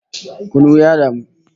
Kunu ya damu